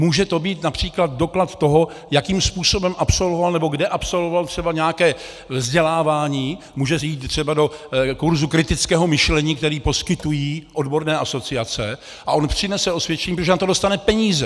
Může to být například doklad toho, jakým způsobem absolvoval nebo kde absolvoval třeba nějaké vzdělávání, může jít třeba do kurzu kritického myšlení, který poskytují odborné asociace, a on přinese osvědčení, protože na to dostane peníze.